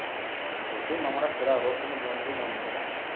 যতই মামারা সেরা হক কিন্তু বন্ধু, বন্ধুই না